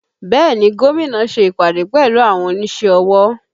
Bẹẹ ni, Gómìnà ṣe ìpàdé pẹ̀lú àwọn onísẹ́ ọwọ́